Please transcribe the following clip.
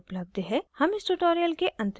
हम इस tutorial के अंत में आ गए हैं